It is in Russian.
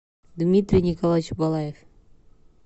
дмитрий николаевич балаев